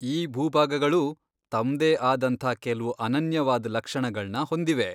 ಈ ಭೂಭಾಗಗಳೂ ತಮ್ದೇ ಆದಂಥ ಕೆಲ್ವು ಅನನ್ಯವಾದ್ ಲಕ್ಷಣಗಳ್ನ ಹೊಂದಿವೆ.